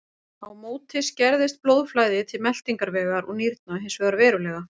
Á móti skerðist blóðflæði til meltingarvegar og nýrna hins vegar verulega.